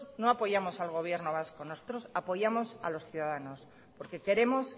no apoyamos al gobierno vasco nosotros apoyamos a los ciudadanos porque queremos